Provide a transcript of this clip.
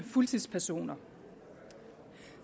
fuldtidspersoner